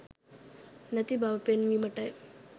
නැති බව පෙන්වීමටයි.